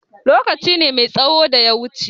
Lokaci ne mai tsaho da ya wuce.